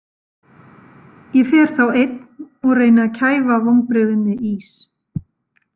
Ég fer þá einn og reyni að kæfa vonbrigðin með ís.